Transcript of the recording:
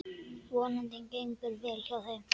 Vonandi gengur vel hjá þeim.